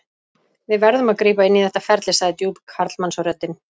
Við verðum að grípa inn í þetta ferli, sagði djúp karlmannsröddin.